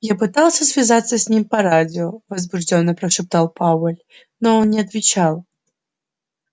я пытался связаться с ним по радио возбуждённо прошептал пауэлл но он не отвечал